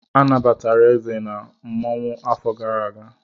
Anabatara Eze n'otu mmanwụ afọ gara aga.